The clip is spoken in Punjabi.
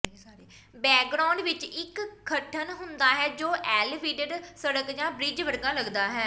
ਬੈਕਗ੍ਰਾਉਂਡ ਵਿਚ ਇਕ ਗਠਨ ਹੁੰਦਾ ਹੈ ਜੋ ਏਲੀਵਡਡ ਸੜਕ ਜਾਂ ਬ੍ਰਿਜ ਵਰਗਾ ਲੱਗਦਾ ਹੈ